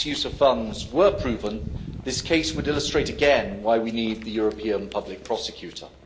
misuse of funds were proven this case would illustrate again why we need the European public prosecutor.